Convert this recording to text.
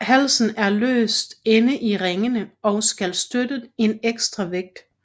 Halsen er løs inde i ringene og skal støtte en ekstra vægt